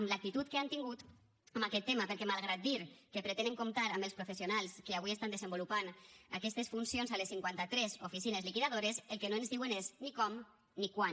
amb l’actitud que han tingut amb aquest tema perquè malgrat dir que pretenen comptar amb els professionals que avui estan desenvolupant aquestes funcions a les cinquanta tres oficines liquidadores el que no ens diuen és ni com ni quan